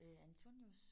Øh Antonius?